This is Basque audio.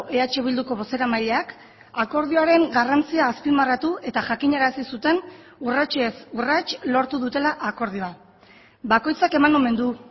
eh bilduko bozeramaileak akordioaren garrantzia azpimarratu eta jakinarazi zuten urratsez urrats lortu dutela akordioa bakoitzak eman omen du